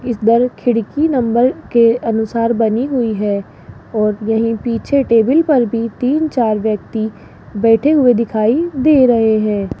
इस बल खिड़की नंबर के अनुसार बनी हुई हैं और यही पीछे टेबल पर भी तीन चार व्यक्ति बैठे हुए दिखाई दे रहें हैं।